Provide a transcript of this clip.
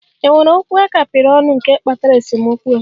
È nwere okwu a kapịrị ọnụ nke kpatara esemokwu a?